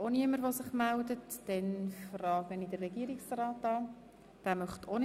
Wünscht der Regierungsrat das Wort?